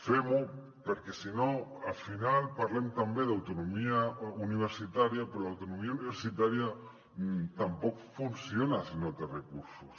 fem ho perquè si no al final parlem també d’autonomia universitària però l’autonomia universitària tampoc funciona si no té recursos